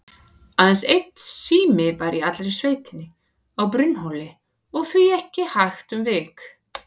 Aðeins einn sími var í allri sveitinni, á Brunnhóli, og því ekki hægt um vik.